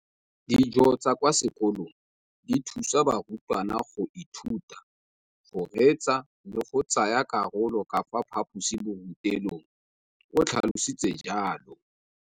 Dijo tsa kwa sekolong dithusa barutwana go ithuta, go reetsa le go tsaya karolo ka fa phaposiborutelong, o tlhalositse jalo.